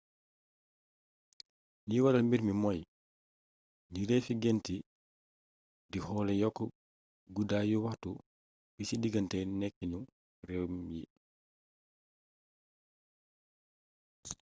li waral mbiir mii mooy njureefi gént di xoole yokk guddaayu waxtu bi ci digganté nekkinu rem yi